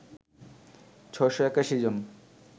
৬৮১ জন